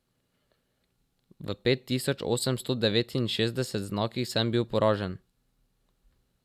V pet tisoč osemsto devetinšestdesetih znakih sem bil poražen.